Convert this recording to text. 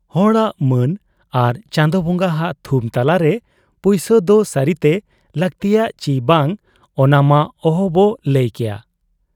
ᱦᱚᱲᱟᱜ ᱢᱟᱹᱱ ᱟᱨ ᱪᱟᱸᱫᱚ ᱵᱟᱝᱜᱟ ᱦᱟᱜ ᱛᱷᱩᱢ ᱛᱟᱞᱟᱨᱮ ᱯᱩᱭᱥᱟᱹ ᱫᱚ ᱥᱟᱹᱨᱤᱛᱮ ᱞᱟᱹᱠᱛᱤᱭᱟ ᱪᱤ ᱵᱟᱝ, ᱚᱱᱟᱢᱟ ᱚᱦᱚᱵᱚ ᱞᱟᱹᱭ ᱠᱮᱭᱟ ᱾